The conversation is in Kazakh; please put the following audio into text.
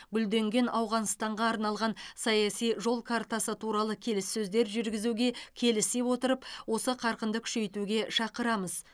гүлденген ауғанстанға арналған саяси жол картасы туралы келіссөздер жүргізуге келісе отырып осы қарқынды күшейтуге шақырамыз